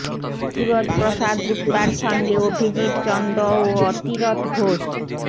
সুরজ প্রসাদ গুপ্তার সঙ্গে অভিজিৎ চন্দ ও অতিরথ ঘোষ